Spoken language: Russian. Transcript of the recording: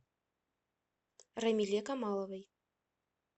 рамиле камаловой